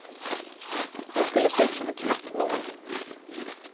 Jag skulle se ut som en knappnål.